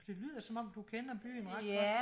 det lyder som om du kender byen ret godt